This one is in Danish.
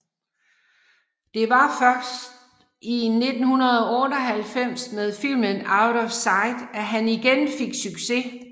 Det var faktisk først i 1998 med filmen Out of Sight at han igen fik succes